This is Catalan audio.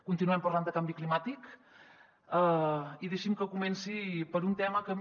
continuem parlant de canvi climàtic i deixi’m que comenci per un tema que a mi